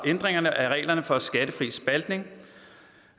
ændringerne af reglerne for skattefri spaltning